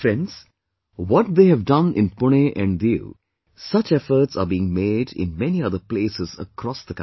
Friends, what they have done in Pune and Diu, such efforts are being made in many other places across the country